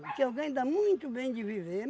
O que eu ganho dá muito bem de viver.